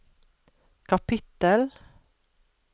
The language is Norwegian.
kapittel